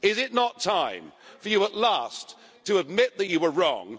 Is it not time for you at last to admit that you were wrong?